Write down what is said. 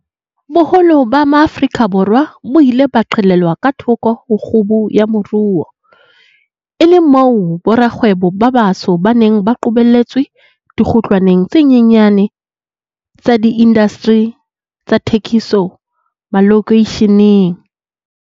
Boholo ba Maafrika Borwa bo ile ba qhelelwa ka thoko ho kgubu ya moruo, e le moo borakgwebo ba batsho ba neng ba qobelletswe dikgutlwaneng tse nyenyane tsa diindasteri tsa thekiso malokeisheneng.